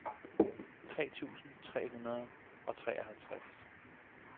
tre tusind tre hundrede og treoghalvtreds